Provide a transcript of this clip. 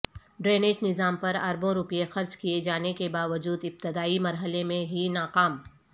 drainage نظام پر اربوں روپے خرچ کئے جانے کے باوجود ابتدائی مرحلے میں ہی ناکام